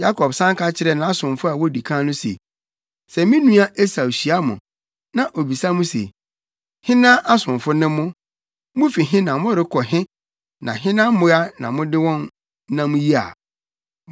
Yakob san ka kyerɛɛ nʼasomfo a wodi kan no se, “Sɛ me nua Esau hyia mo, na obisa mo se, ‘Hena asomfo ne mo, mufi he na morekɔ he na hena mmoa na mode wɔn nam yi a?’